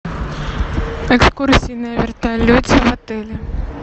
экскурсии на вертолете в отеле